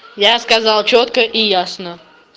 я сказал чётко и ясно